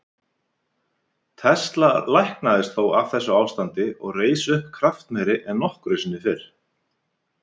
Tesla læknaðist þó af þessu ástandi og reis upp kraftmeiri en nokkru sinni fyrr.